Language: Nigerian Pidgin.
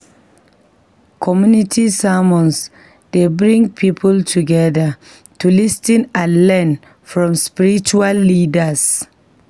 Community sermons dey bring people together to lis ten and learn from spiritual leaders.